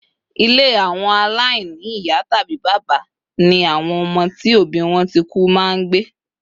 ile awo alaini iya tabi baba ni awon omo ti obi won ti ku ma ngbe